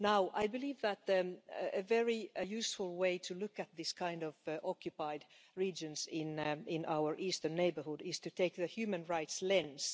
I believe that a very useful way of looking at these kinds of occupied regions in our Eastern neighbourhood is to take the human rights lens.